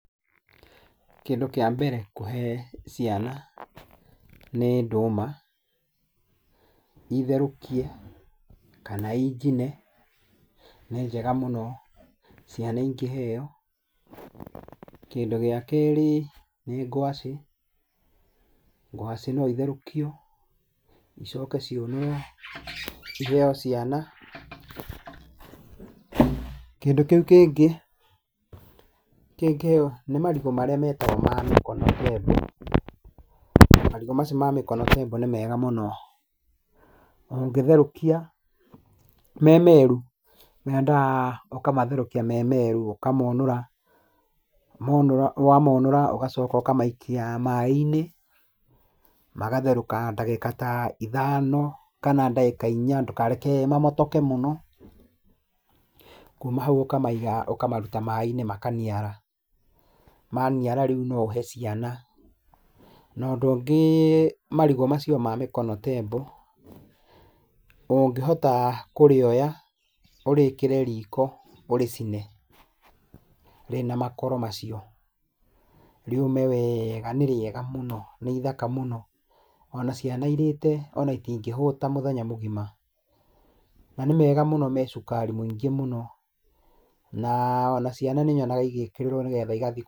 Kĩndũ kĩa mbere kũhe ciana nĩ ndũma, itherũkie kana injine nĩ njega mũno ciana ikĩheo. Kĩndũ gĩa kerĩ nĩ gwacĩ, gwacĩ no itherũkio, icoke ciũnũrwo, iheo ciana. Kĩndũ kĩu kĩngĩ nĩ marigũ marĩa metagwo ma mĩkono tembo. Marigũ macio ma mĩkono tembo nĩ mega mũno. Ũngĩtherũkia me meru, mendaga ũkamatherũkia me meru, ũkamonũra. Wamorũra ũgacoka ũkamaikia maĩ-inĩ magatherũka ndagĩka ta ithano kana ndagĩka inya, ndũkareke mamotoke mũno. Kuma hau ũkamaiga ũkamaruta maĩ-inĩ makaniara. Maniara rĩu no ũhe ciana. Na ũndũ ũngĩ marigũ macio ma mĩkono tembo, ũngĩhota kũrĩoya ũrĩkĩre riko ũrĩcine rĩna makoro macio, rĩũme weega, nĩrĩega mũno, nĩithaka mũno, ona ciana irĩte ona itingĩhũta mũthenya mũgima, na nĩ mega mũno me cukari mũingĩ mũno. Na ona ciana nĩnyonaga igĩkĩrĩrwo nĩgetha igathiĩ